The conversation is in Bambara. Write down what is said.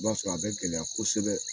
I b'a sɔrɔ a bɛ gɛlɛya kosɛbɛ